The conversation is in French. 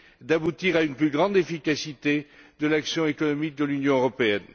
d'aboutir à une plus grande efficacité de l'action économique de l'Union européenne.